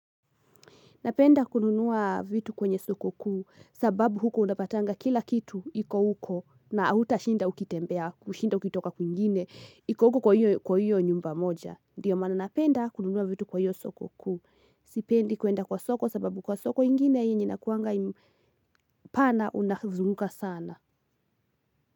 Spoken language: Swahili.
Napenda kununua vitu kwenye soko kuu sababu huko unapatanga kila kitu iko huko na hautashinda ukitembea, kushida ukitoka kwingine, iko huko kwa hiyo nyumba moja. Ndiyo maana napenda kununua vitu kwa hiyo soko kuu. Sipendi kuenda kwa soko sababu kwa soko ingine yenye inakuanga pana unazunguka sana.